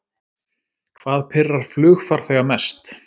Hvað pirrar flugfarþega mest